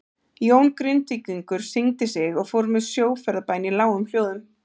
Jón Grindvíkingur signdi sig og fór með sjóferðabæn í lágum hljóðum.